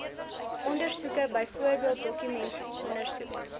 ondersoeke byvoorbeeld dokumentondersoek